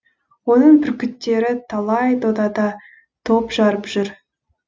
оның бүркіттері талай додада топ жарып жүр